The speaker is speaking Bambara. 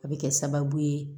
A bɛ kɛ sababu ye